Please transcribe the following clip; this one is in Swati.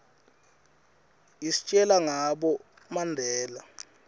istjela ngabo mandela